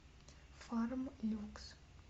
фарм люкс